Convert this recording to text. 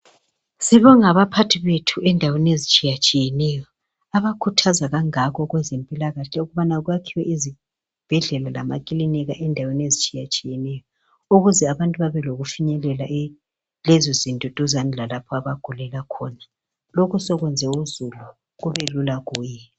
Sibonge abaphathi bethu endaweni ezitshiyatshiyeneyo abakhuthaza kangako kwezempilakahle ukubana kwakhiwe izibhedlela lamaklinika endaweni ezitshiyatshiyeneyo ukuze abantu bebelokufinyelele lezozinto duzana lalapha abantu abagulela khona lokhu sokwenze uzulu kube lula kuye.